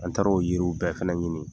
An taara'o yiriw bɛɛ fɛnɛ ɲini